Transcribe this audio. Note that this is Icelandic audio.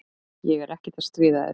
Ég er ekkert að stríða þér.